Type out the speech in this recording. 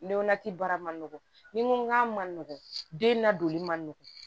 Ne baara man nɔgɔn ni n ko k'a ma nɔgɔn den nadonni man nɔgɔn